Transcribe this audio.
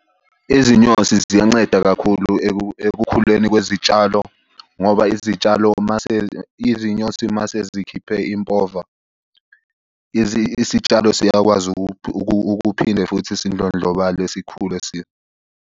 Izinyosi ziyanceda kakhulu ekukhuleni kwezitshalo ngoba izitshalo, mase izinyosi mase zikhiphe impova, isitshalo siyakwazi ukuphinde futhi sidlondlobale, sikhule .